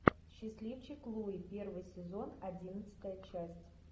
счастливчик луи первый сезон одиннадцатая часть